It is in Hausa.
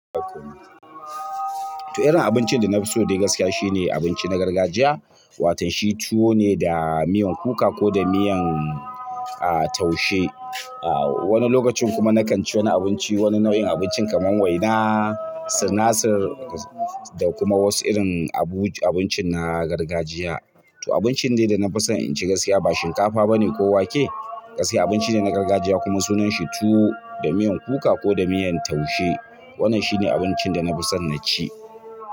To irin abincin da na fi so dai gaskiya shine abinci na gargajiya. Watan shi tuwo ne da miyan kuka ko da miyan, a, taushe. A, wani lokacin kuma na kan ci wani abinci, wani nau'in abinci kamar waina, sinasir da kuma wasu irin abu, abincin na gargajiya. To abincin dai da na fi son in ci gaskiya ba shinkafa bane ko wake. Gaskiya abinci ne na gargajiya kuma sunan shi tuwo da miyan kuka ko da miyan taushe. Wannan shine abincin da na fi son na ci.